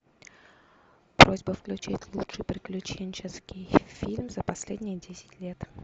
просьба включить лучший приключенческий фильм за последние десять лет